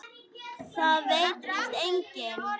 Það veit víst enginn.